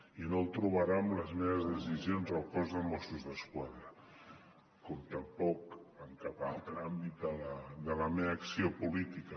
i no el trobarà en les meves decisions al cos de mossos d’esquadra com tampoc en cap altre àmbit de la meva acció política